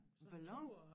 Sådan en tur